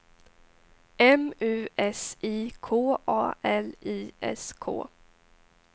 M U S I K A L I S K